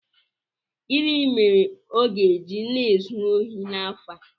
Gịnị mere ọ ga-eji na-ezu ohi n'afọ a?